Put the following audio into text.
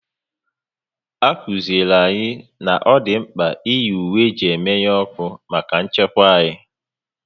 A kụziri anyị na ọ dị mkpa iyi ùwé eji emenu ọkụ maka nchekwa anyị